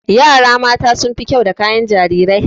Yara mata sun fi kyau da kayan jarirai.